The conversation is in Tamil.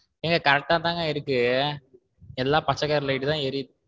ஏங்க correct தான்ங்க இருக்கு எல்லாம் பச்சை colour light தான் எரியுது.